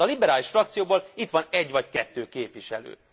Hát a liberális frakcióból itt van egy vagy kettő képviselő.